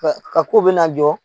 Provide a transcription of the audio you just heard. Ka ka ko bɛ na jɔ.